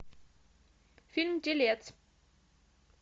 фильм телец